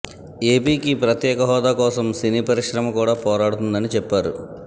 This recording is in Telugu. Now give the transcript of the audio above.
ఏపీకి ప్రత్యేక హోదా కోసం సినీ పరిశ్రమ కూడా పోరాడుతుందని చెప్పారు